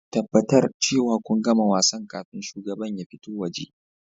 Tabbatar cewa kun gama wasan kafin shugaban ya fito waje